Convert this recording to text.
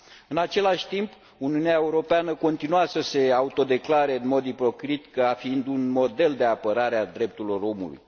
În același timp, Uniunea Europeană continuă să se autodeclare, în mod ipocrit, ca fiind un model de apărare a drepturilor omului.